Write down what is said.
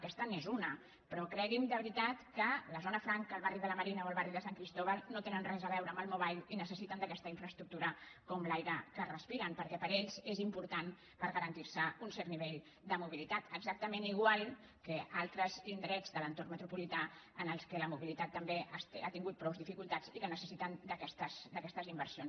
aquesta n’és una però cregui’m de veritat que la zona franca el barri de la marina o el barri de sant cristòfol no tenen res a veure amb el mobile i necessiten aquesta infraestructura com l’aire que respiren perquè per a ells és important per garantir se un cert nivell de mobilitat exactament igual que en altres indrets de l’entorn metropolità en què la mobilitat també ha tingut prou dificultats i que necessiten aquestes inversions